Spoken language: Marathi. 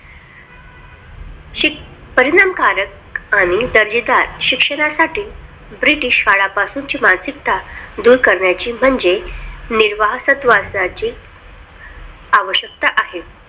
शिक परिणामकारक आणि दर्जेदार शिक्षणासाठी British काळापासून ची मानसिकता दूर करण्याची म्हणजे निर्वसहतवादाची आवश्यकता आहे.